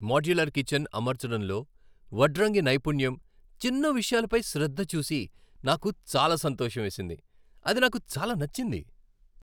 Modular kitchen అమర్చడంలో వడ్రంగి నైపుణ్యం, చిన్న విషయాలపై శ్రద్ధ చూసి నాకు చాలా సంతోషం వేసింది. అది నాకు చాలా నచ్చింది.